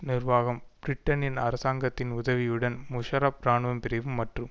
நிர்வாகம் பிரிட்டனின் அரசாங்கத்தின் உதவியுடன் முஷாரஃப் இராணுவ பிரிவு மற்றும்